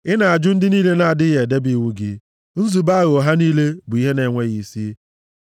Ị na-ajụ ndị niile na-adịghị edebe iwu gị, nzube aghụghọ ha niile bụ ihe na-enweghị isi.